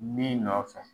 Min nɔfɛ